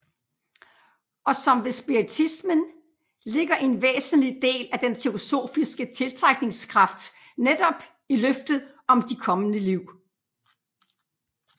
Og som ved spiritismen ligger en væsentlig del af den teosofiske tiltrækningskraft netop i løftet om de kommende liv